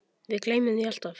Við gleymum því alltaf